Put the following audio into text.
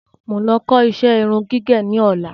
Mo ń lọ kó iṣẹ́ irun gígẹ̀ ní ọ̀la